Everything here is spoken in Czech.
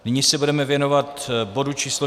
Nyní se budeme věnovat bodu číslo